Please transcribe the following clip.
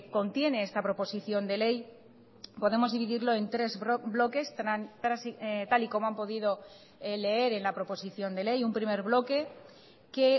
contiene esta proposición de ley podemos dividirlo en tres bloques tal y como han podido leer en la proposición de ley un primer bloque que